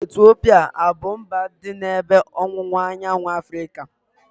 Etiopia abu mba dị n'ebe ọwụwa anyanwụ Afrịka?